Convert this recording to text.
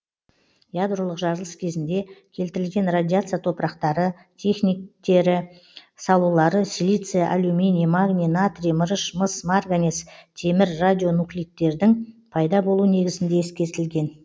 ядролық жарылыс кезінде келтірілген радиация топырақтары техниктері салулары силиция алюминий магний натрий мырыш мыс марганец темір радионуклидтердің пайда болу негізінде ескертілген